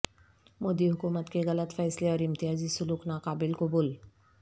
مودی حکومت کے غلط فیصلے اور امتیازی سلوک ناقابل قبول